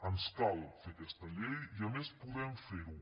ens cal fer aquesta llei i a més podem fer ho